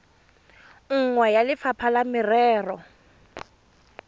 nngwe ya lefapha la merero